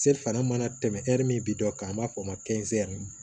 Se fana mana tɛmɛ ɛri min bi dɔ kan an b'a fɔ o ma ko